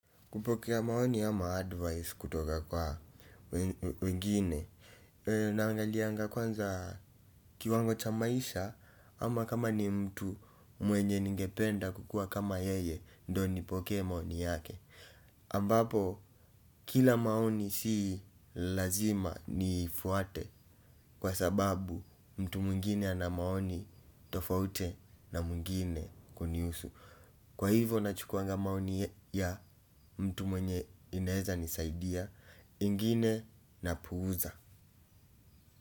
Kupokea maoni ama advice kutoka kwa wengine naangalianga kwanza kiwango cha maisha ama kama ni mtu mwenye ningependa kukua kama yeye ndo nipokee maoni yake ambapo kila maoni si lazima ni fuate kwa sababu mtu mwingine ana maoni tofauti na mwingine kunihusu. Kwa hivyo na chukuanga maoni ya mtu mwenye inaweza nisaidia ingine na puuza.